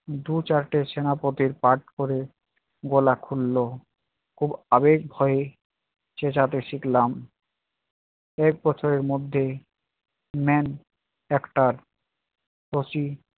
দু চারটে সেনাপতির part করে গলা খুললো। খুব আবেগ ভয়ে চেচাতে শিখলাম। এক বছরের মধ্যেই main acter